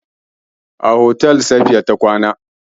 A otel Safiya ta kwana.